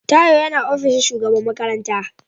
Tayo yana ofishin shugaban makarantar.